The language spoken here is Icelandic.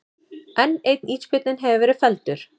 Enn einn ísbjörninn hefur verið felldur